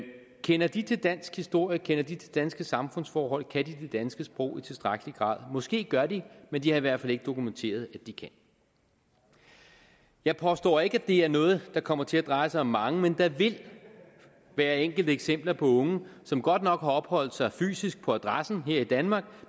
kender de til dansk historie kender de til danske samfundsforhold kan de det danske sprog i tilstrækkelig grad måske gør de men de har i hvert fald ikke dokumenteret det jeg påstår ikke at det er noget det kommer til at dreje sig om mange men der vil være enkelte eksempler på unge som godt nok har opholdt sig fysisk på adressen her i danmark